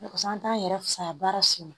Parisa an t'an yɛrɛ fisaya baara si ma